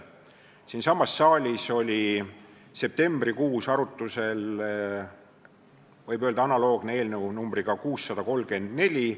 Siinsamas saalis oli septembrikuus arutusel analoogne eelnõu numbriga 634.